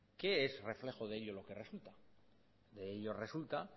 qué es reflejo de ello lo que resulta de ello resulta